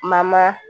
Mama